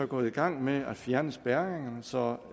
gået i gang med at fjerne spærringerne så